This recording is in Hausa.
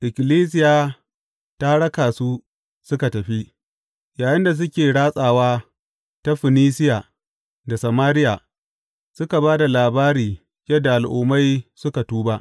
Ikkilisiya ta raka su suka tafi, yayinda suke ratsawa ta Funisiya da Samariya, suka ba da labari yadda Al’ummai suka tuba.